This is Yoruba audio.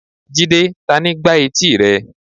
jide, tani gbá eti rẹ?